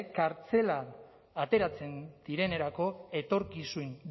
kartzelatik ateratzen direnerako etorkizun